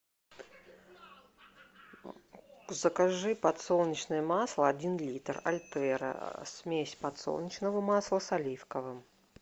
закажи подсолнечное масло один литр альтера смесь подсолнечного масла с оливковым